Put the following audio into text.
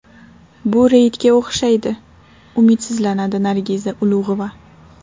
Bu reydga o‘xshaydi”, umidsizlanadi Nargiza Ulug‘ova.